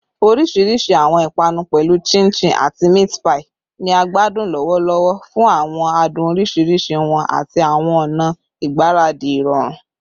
Orisirisi awọn ipanu, pẹlu chin chin ati meat pie, ni a gbadun lọwọlọwọ fun awọn adun oriṣiriṣi wọn ati awọn ọna igbaradi irọrun